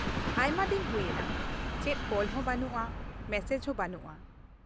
ᱟᱭᱢᱟ ᱫᱤᱱ ᱦᱩᱭ ᱮᱱᱟ, ᱪᱮᱫ ᱠᱚᱞ ᱦᱚᱸ ᱵᱟᱱᱩᱜᱼᱟ, ᱢᱮᱥᱮᱡ ᱦᱚᱸ ᱵᱟᱹᱱᱩᱜᱼᱟ ᱾